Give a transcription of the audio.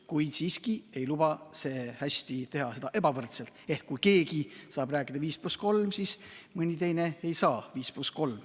Kuid siiski ei luba see hästi teha seda ebavõrdselt, et kui keegi saab rääkida 5 + 3, siis mõni teine ei saa 5 + 3.